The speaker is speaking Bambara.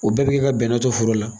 O bɛɛ bɛ ka bɛnɛ to foro la.